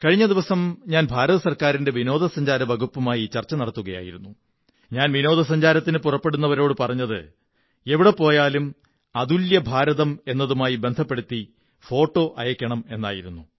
കഴിഞ്ഞ ദിവസം ഞാൻ കേന്ദ്ര വിനോദസഞ്ചാര വകുപ്പുമായി ചര്ച്ചങ നടത്തുകയായിരുന്നു ഞാൻ വിനോദസഞ്ചാരത്തിനു പുറപ്പെടുന്നവരോടു പറഞ്ഞത് എവിടെ പോയാലും അതുല്യ ഭാരതം എന്നതുമായി ബന്ധപ്പെടുത്തി ഫോട്ടോ അയയ്ക്കണമെന്നായിരുന്നു